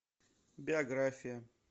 биография